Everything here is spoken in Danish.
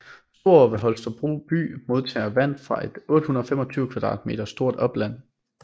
Storå ved Holstebro by modtager vand fra et 825 km² stort opland